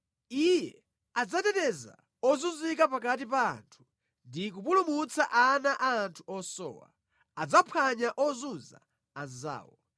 Iye adzateteza ozunzika pakati pa anthu ndi kupulumutsa ana a anthu osowa; adzaphwanya ozunza anzawo.